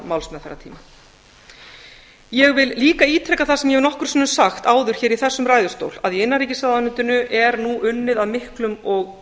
málsmeðferðartímann ég vil líka ítreka það sem ég hef nokkrum sinnum sagt áður í þessum ræðustól að í innanríkisráðuneytinu er nú unnið af miklum og